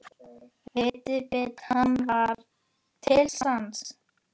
Viðbiti hann var til sanns.